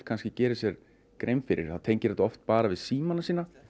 gerir sér grein fyrir það tengir þetta bara við símana sína